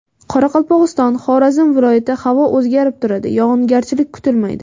Qoraqalpog‘iston, Xorazm viloyati Havo o‘zgarib turadi, yog‘ingarchilik kutilmaydi.